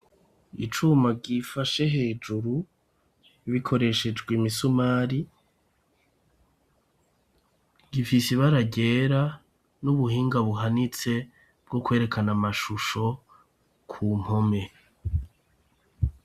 Icuma gifashe hejuru bikoreshejwe i misumari gifise ibaragera n'ubuhinga buhanitse bwo kwerekana amashusho ku mpome.